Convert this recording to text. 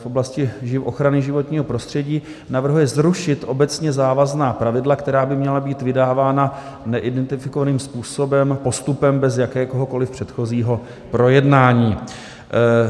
V oblasti ochrany životního prostředí navrhuje zrušit obecně závazná pravidla, která by měla být vydávána neidentifikovaným způsobem, postupem bez jakéhokoli předchozího projednání.